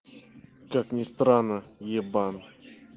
как ни странно ебан